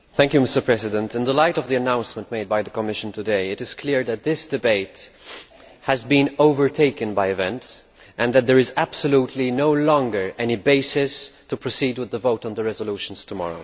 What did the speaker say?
Mr President, in the light of the announcement made by the Commission today, it is clear that this debate has been overtaken by events and that there is no longer any reason whatsoever to proceed with the vote on the resolutions tomorrow.